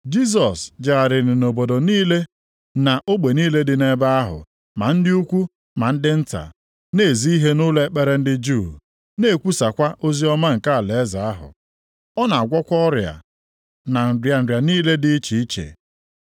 Jisọs jegharịrị nʼobodo niile na ogbe niile dị nʼebe ahụ, ma ndị ukwu na ndị nta, na-ezi ihe nʼụlọ ekpere ndị Juu, na-ekwusakwa oziọma nke alaeze ahụ. Ọ na-agwọkwa ọrịa na nrịa nrịa niile dị iche iche.